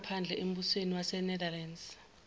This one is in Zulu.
zangaphandle embusweni wasenetherlands